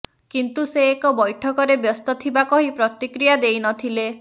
କିନ୍ତୁ ସେ ଏକ ବୈଠକରେ ବ୍ୟସ୍ତ ଥିବା କହି ପ୍ରତିକ୍ରିୟା ଦେଇନଥିଲେ